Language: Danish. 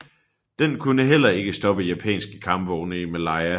Den kunne heller ikke stoppe japanske kampvogne i Malaya